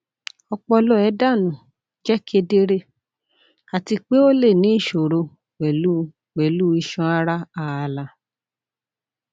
ọpọlọ ẹdanu jẹ kedere ati pe o le ni iṣoro pẹlu pẹlu iṣan ara aala